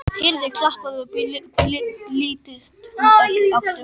Heyrði klapp og blístur úr öllum áttum.